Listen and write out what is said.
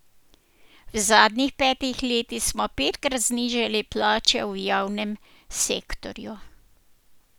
V zadnjih petih letih smo petkrat znižali plače v javnem sektorju.